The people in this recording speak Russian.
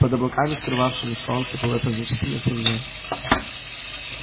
под облаками скрывавшими солнце было значительно темнее